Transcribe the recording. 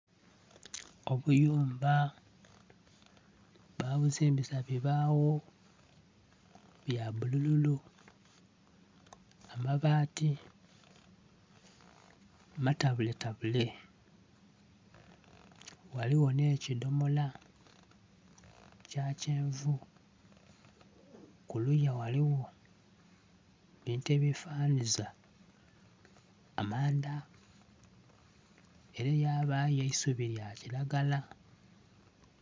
Obuyumba, babuzimbisa bibaawo bya bulululu. Amabaati matabuletabule. Ghaliwo nh'ekidomola kya kyenvu. Kuluya waliwo ebintu ebyefanhanhiza amanda, ere yabayo eisubi lya kiragala.